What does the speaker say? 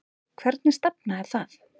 Hvernig stefna er það?